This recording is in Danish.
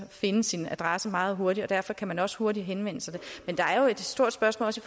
finde sin adresse meget hurtigt derfor kan man også hurtigt henvende sig men der er jo et stort spørgsmål også